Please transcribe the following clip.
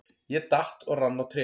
Ég datt og rann á tré.